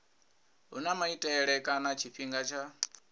huna maitele kana tshifhinga tsha